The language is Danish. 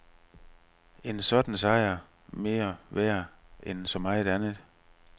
En sådan sejr mere værd end så meget andet.